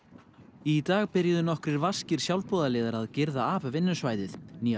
í dag byrjuðu nokkrir vaskir sjálfboðaliðar að girða af vinnusvæðið nýja